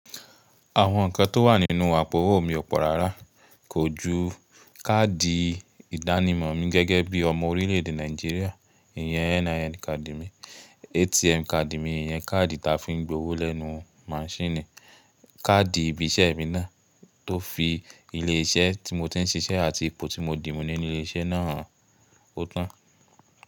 Àwọn ǹkan tó wà nínú àpò owó mi ọ̀pọ̀ rárá, kò ju káàdì ìdánimọ̀ mi gẹ́gẹ́ bí ọmọ orílẹ̀èdè Nàìjíríà, ìyẹn NIN card mi, ATM card mi, ìyẹn káàdì ta fi ń gbowó lẹ́nu maṣíìnì, káàdì ibi iṣẹ́ mi náà tó fi ilé iṣẹ́ tí mo ti ń ṣiṣẹ́ àti ipò tí mo dì mú nínú ilé iṣẹ́ náà hàn ó tán.